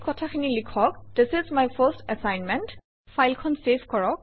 এই কথাখিনি লিখক - this is my first assignment